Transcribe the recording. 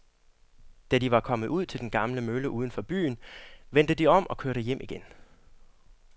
Da de var kommet ud til den gamle mølle uden for byen, vendte de om og kørte hjem igen.